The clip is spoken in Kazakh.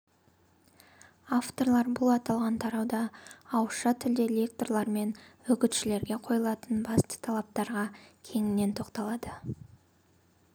авторлар бұл аталған тарауда ауызша тілде лекторлар мен үгітшілерге қойылатын басты талаптарға кеңінен тоқталады